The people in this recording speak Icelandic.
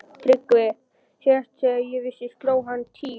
TRYGGVI: Síðast þegar ég vissi sló hún tíu.